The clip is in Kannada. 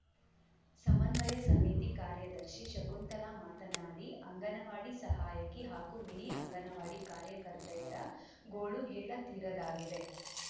ಸಮನ್ವಯ ಸಮಿತಿ ಕಾರ್ಯದರ್ಶಿ ಶಕುಂತಲಾ ಮಾತನಾಡಿ ಅಂಗನವಾಡಿ ಸಹಾಯಕಿ ಹಾಗೂ ಮಿನಿ ಅಂಗನವಾಡಿ ಕಾರ್ಯಕರ್ತೆಯರ ಗೋಳು ಹೇಳತೀರದಾಗಿದೆ